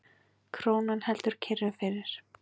Krónan heldur kyrru fyrir